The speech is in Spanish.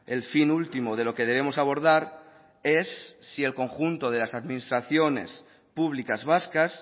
el fin último de lo que debemos abordar es si el conjunto de las administraciones públicas vascas